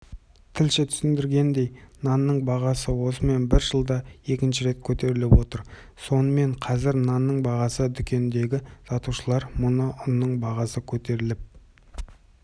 тілші түсіндіргендей нанның бағасы осымен бір жылда екінші рет көтеріліп отыр сонымен қазір нанның бағасы дүкендегі сатушылар мұны ұнның бағасы көтеріліп